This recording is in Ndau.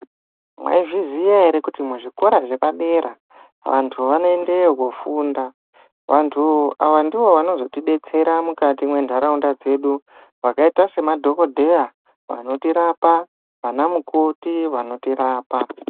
Mwaizviziya ere kuti muzvikora zvepadera vantu vanoendeyo kofunda vantu ava ndovanozotidetsera mukati mendaraunda dzedu vakaita semadhokodheya vanotirapa vana mukoti vanotirapa.